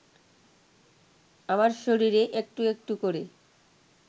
আমার শরীরে একটু একটু করে